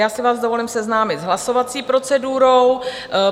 Já si vás dovolím seznámit s hlasovací procedurou.